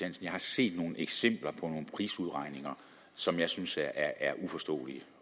at jeg har set nogle eksempler på prisudregninger som jeg synes er uforståelige